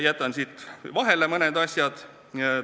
Jätan siis mõned asjad vahele.